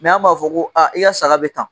an b'a fɔ ko a i y'a saga bɛ tan